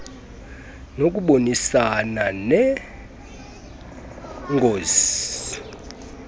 nokubonisana nee ngos